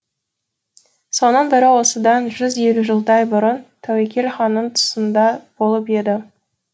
соның бірі осыдан жүз елу жылдай бұрын тәуекел ханның тұсында болып еді